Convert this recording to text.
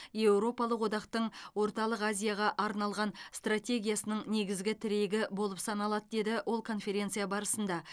еуропалық одақтың орталық азияға арналған стратегиясының негізгі тірегі болып саналады деді ол конференция барысында